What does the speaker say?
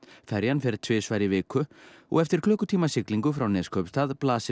ferjan fer tvisvar í viku og eftir klukkutíma siglingu frá Neskaupstað blasir